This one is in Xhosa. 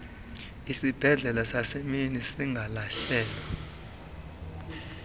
isibhedlele sasemini igaleshewe